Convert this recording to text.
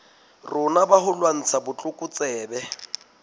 rona ba ho lwantsha botlokotsebe